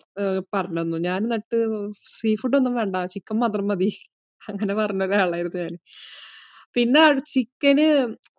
പറഞ്ഞു തന്നു. ഞാന്‍ എന്നിട്ട് sea food ഒന്നും വേണ്ട. chicken മാത്രം മതി അങ്ങനെ പറഞ്ഞ ഒരാളായിരുന്നു ഞാന്‍. പിന്നെ chicken